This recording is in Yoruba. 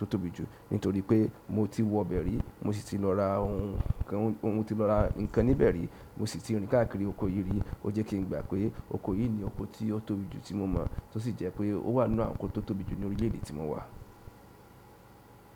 tóbi jù nitoripe moti wo be rí mosi ti lọ ra ohun mo ti lọ ra ǹkan be rí. Mo sì ti rí káàkiri oko yìí rí. Ó jẹ́ kí n gba pé oko yìí ni oko tí ó tóbi jù tí mo mọ̀ tó sì jẹ́ pé ó wà nínú àwọn oko tó tóbi jù nínú orílẹ̀ èdè tí mo wà.